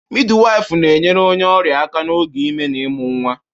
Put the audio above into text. Midiwifu na-enyere onye ọrịa aka n'oge ime na ịmụ nwa.